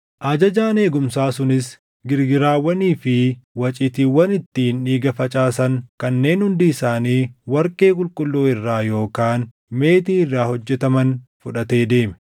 Ajajaan eegumsaa sunis girgiraawwanii fi waciitiiwwan ittiin dhiiga facaasan kanneen hundi isaanii warqee qulqulluu irraa yookaan meetii irraa hojjetaman fudhatee deeme.